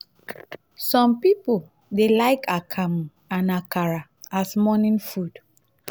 some pipo dey like akamu and akara as morning food